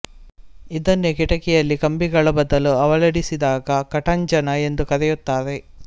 ಇದನ್ನೇ ಕಿಟಿಕಿಯಲ್ಲಿ ಕಂಬಿಗಳ ಬದಲು ಅಳವಡಿಸಿದಾಗ ಕಟಾಂಜನ ಎಂದು ಕರೆಯುತ್ತಾರೆ